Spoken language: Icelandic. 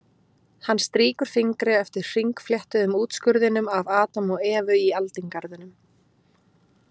Hann strýkur fingri eftir hringfléttuðum útskurðinum af Adam og Evu í aldingarðinum.